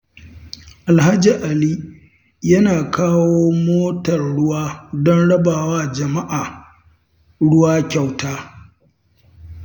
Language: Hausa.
Alhaji Ali yana kawo motar ruwa don rabawa jama'a ruwa kyauta.